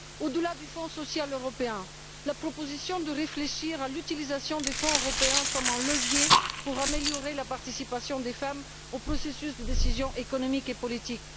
Au delà du Fonds social européen, la proposition de réfléchir à l'utilisation des fonds européens comme un levier pour améliorer la participation des femmes au processus de décision économique et politique.